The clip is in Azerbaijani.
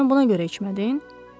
Sən buna görə içmədin?